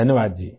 धन्यवाद जी